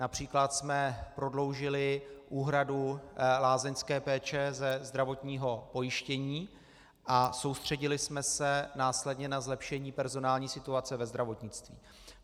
Například jsme prodloužili úhradu lázeňské péče ze zdravotního pojištění a soustředili jsme se následně na zlepšení personální situace ve zdravotnictví.